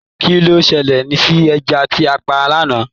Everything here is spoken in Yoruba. Kilo ṣẹlẹ sí ẹja tí a pa l'ana?